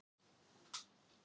Ertu búinn að sjá það?